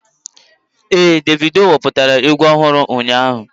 Éè Davido wepụtara egwu ọhụrụ ụnyaahụ